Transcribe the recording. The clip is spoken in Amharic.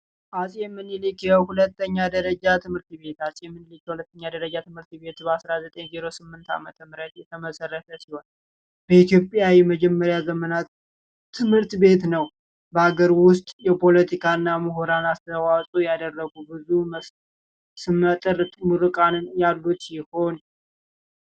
ዐፄ ምኒሊክ የሁለተኛ ደረጃ ትምህርት ቤት ዐፄ ምኒሊክ የሁለተኛ ደረጃ ትምህርት ቤት በ 1908 ዓመተ ምህረት የተመሰረተ ሲሆን፤ በኢትዮጵያ የመጀመሪያ ዘመናት ትምህርት ቤት ነው። በአገር ውስጥ የፖለቲካ እና ምሁራን አስተዋፅኦ ያደረጉ ብዙ ስመ ጥር ምሩቃንን ያሉት ይሆን።